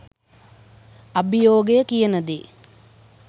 අභියෝගය කියන දේ